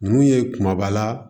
Ninnu ye kumaba